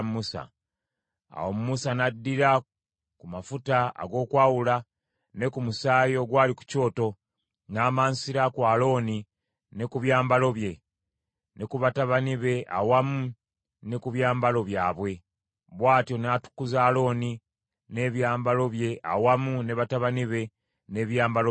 Awo Musa n’addira ku mafuta ag’okwawula ne ku musaayi ogwali ku kyoto, n’amansira ku Alooni ne ku byambalo bye, ne ku batabani be awamu ne ku byambalo byabwe. Bw’atyo n’atukuza Alooni n’ebyambalo bye awamu ne batabani be n’ebyambalo byabwe.